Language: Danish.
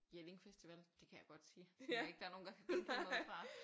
Jelling festival det kan jeg godt sige tror ikke der er nogen der kan udlede noget fra